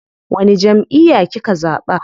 Wani jamʼiya kika zaɓa?